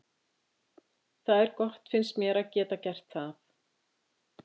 Það er gott finnst mér að geta gert það.